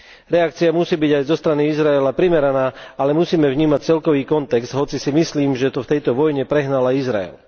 Reakcia musí byť aj zo strany Izraela primeraná, ale musíme vnímať celkový kontext, hoci si myslím, že to v tejto vojne prehnal aj Izrael.